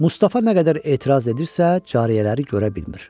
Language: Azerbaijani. Mustafa nə qədər etiraz edirsə, cariyələri görə bilmir.